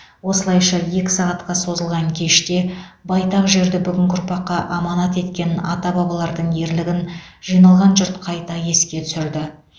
осылайша екі сағатқа созылған кеште байтақ жерді бүгінгі ұрпаққа аманат еткен ата бабалардың ерлігін жиналған жұрт қайта еске түсірді